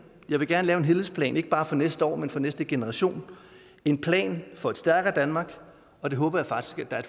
jeg vil gerne lave en helhedsplan ikke bare for næste år men for næste generation en plan for et stærkere danmark og det håber jeg faktisk at